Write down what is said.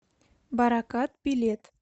баракат билет